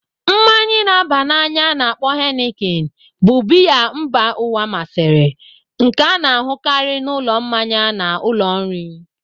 Mmanyi na aba na anya a-na akpo Henikin bụ biya mba ụwa masịrị, nke a na-ahụkarị n'ụlọ mmanya na ụlọ nri.